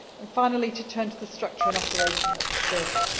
too. Finally, to turn to the structure and operation of the service.